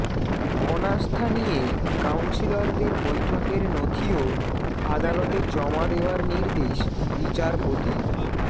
অনাস্থা নিয়ে কাউন্সিলরদের বৈঠকের নথিও আদালতে জমা দেওয়ার নির্দেশ বিচারপতির